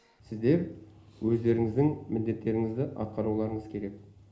сіздер өздеріңіздің міндеттеріңізді атқаруларыңыз керек